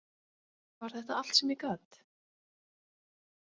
Var þetta allt sem ég gat?